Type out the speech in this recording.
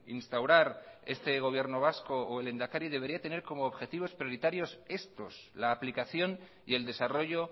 instaurar este gobierno vasco o el lehendakari debería tener como objetivos prioritarios estos la aplicación y el desarrollo